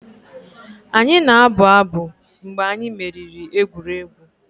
Anyị na-abụ abụ mgbe anyị meriri egwuregwu.